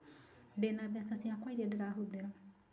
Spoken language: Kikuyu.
Ndĩna mbeca ciakwa irĩa ndĩrahũthĩra